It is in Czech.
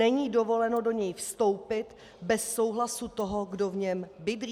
Není dovoleno do něj vstoupit bez souhlasu toho, kdo v něm bydlí.